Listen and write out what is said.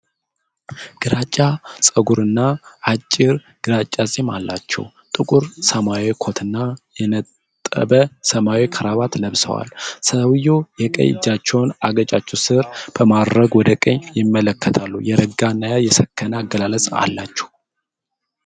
ግራጫ ፀጉር እና አጭር ግራጫ ፂም አላቸው። ጥቁር ሰማያዊ ኮት እና የነጥብ ሰማያዊ ክራባት ለብሰዋል። ሰውየው የቀኝ እጃቸውን አገጫቸው ስር በማድረግ ወደ ቀኝ ይመለከታሉ። የረጋ እና የሰከነ አገላለጽ አላቸው።